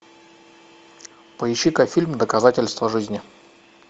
поищи ка фильм доказательство жизни